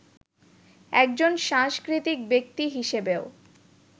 একজন সাংস্কৃতিক ব্যক্তি হিসেবেও